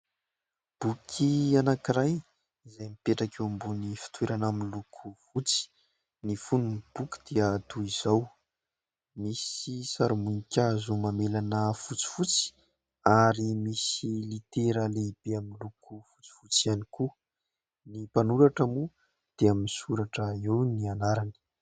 Boky anankiray izay mipetraka eo ambonin'ny fitoerana miloko fotsy. Ny fonin'ny boky dia toy izao : misy sarim-boninkazo mamelana fotsifotsy ary misy litera lehibe amin'ny loko fotsifotsy ihany koa. Ny mpanoratra moa dia misoratra eo ny anarany.